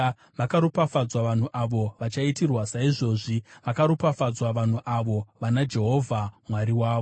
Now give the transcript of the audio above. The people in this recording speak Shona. Vakaropafadzwa vanhu avo vachaitirwa saizvozvi; vakaropafadzwa vanhu avo vana Jehovha Mwari wavo.